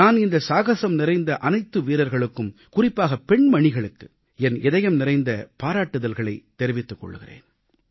நான் இந்த சாகசம் நிறைந்த அனைத்து வீரர்களுக்கும் குறிப்பாக பெண்மணிகளுக்கு என் இதயம்நிறைந்த பாராட்டுகளைத் தெரிவித்துக் கொள்கிறேன்